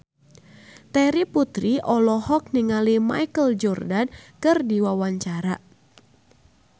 Terry Putri olohok ningali Michael Jordan keur diwawancara